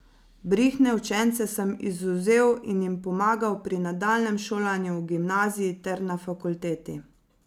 Brihtne učence sem izvzel in jim pomagal pri nadaljnjem šolanju v gimnaziji ter na fakulteti.